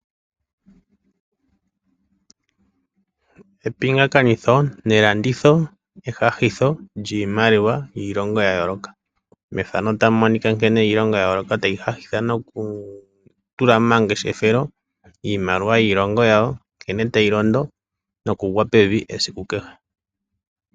Epingakanitho nelanditho ehahitho lyimaliwa yiilongo yayoloka, iilongo yayoloka tayi hahitha noku tula momangeshefelo iimaliwa yiilongo yawo nkene tayilondo nokungwa pevi esiku kehe.